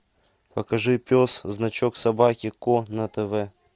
покажи пес значок собаки ко на тв